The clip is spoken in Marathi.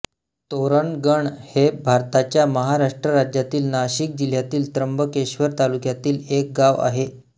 तोरणगण हे भारताच्या महाराष्ट्र राज्यातील नाशिक जिल्ह्यातील त्र्यंबकेश्वर तालुक्यातील एक गाव आहे